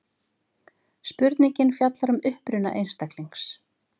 spurningin fjallar um uppruna einstaklings